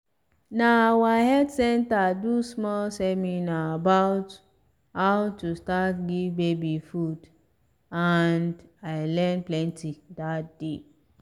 na our health center do small seminar about how to start give baby food and i learn plenty that day